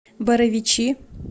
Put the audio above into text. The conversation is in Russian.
боровичи